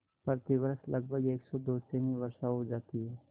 प्रतिवर्ष लगभग सेमी वर्षा हो जाती है